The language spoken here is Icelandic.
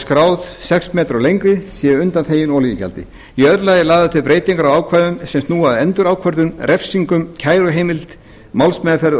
skráð sex metrar eða lengri sé undanþegin olíugjaldi í öðru lagi eru lagðar til breytingar á ákvæðum sem snúa að endurákvörðun refsingum kæruheimild málsmeðferð og